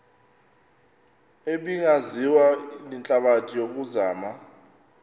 ebingaziwa lihlabathi yokuzama